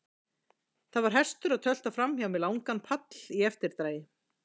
Það var hestur að tölta framhjá með langan pall í eftirdragi.